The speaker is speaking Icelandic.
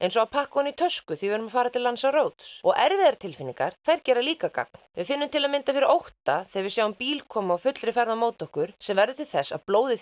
eins og að pakka ofan í tösku þegar við erum að fara til Lanzarote og erfiðar tilfinningar þær gera líka gagn við finnum til dæmis fyrir ótta þegar við sjáum bíla koma á fullri ferð á móti okkur sem verður til þess að blóðið